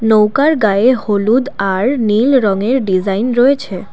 নৌকার গায়ে হলুদ আর নীল রঙের ডিজাইন রয়েছে।